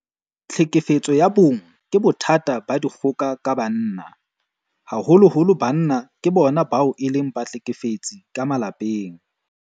Tlhekefetso ya bong ke bothata ba dikgoka ka banna. Haholoholo banna ke bona bao e leng bahlekefetsi ka malapeng.